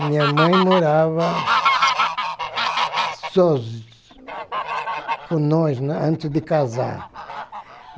A minha mãe morava... sozinha... com nós, antes de casar.